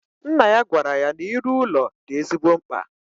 Nna ya gwara ya na iru ụlọ di ezigbo mkpa